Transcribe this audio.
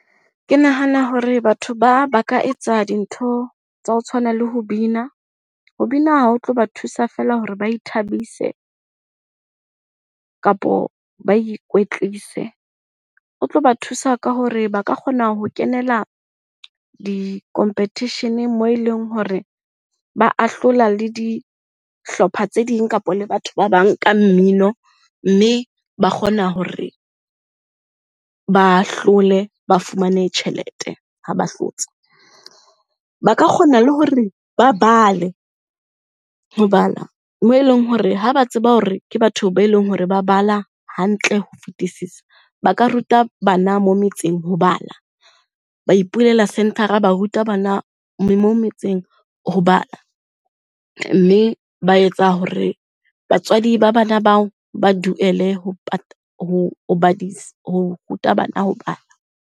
Ke nahana hore batho ba, ba ka etsa dintho tsa ho tshwana le ho bina. Ho bina ha o tlo ba thusa feela hore ba ithabise kapo ba ikwetlise. Ho tlo ba thusa ka hore ba ka kgona ho kenela di-competition moo e leng hore ba ahlola le dihlopha tse ding kapa le batho ba bang ka mmino mme ba kgona hore ba hlole ba fumane tjhelete, ha ba hlotse. Ba ka kgona le hore ba bale, ho bala moo e leng hore ha ba tseba hore ke batho ba e leng hore ba bala hantle ho fetisisa, ba ka ruta bana metseng ho bala. Ba ipulela centre-ra, ba ruta bana metseng ho bala. Mme ba etsa hore batswadi ba bana bao ba duele ho badisa ho ruta bana ho bala.